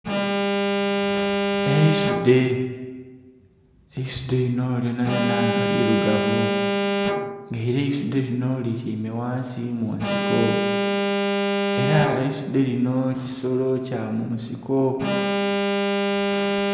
Eisudhe. Eisudhe linho lyonalyona nga lilugavu. Nga ela eisudhe lino lityaime ghansi mu nsiko. Ela eisudhe linho kisolo kya munsiko.